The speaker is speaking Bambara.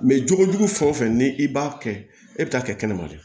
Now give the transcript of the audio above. jogo jugu fɛn o fɛn ni i b'a kɛ e bɛ taa kɛ kɛnɛma de